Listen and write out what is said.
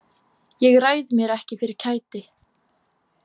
Ég ræð mér ekki fyrir kæti.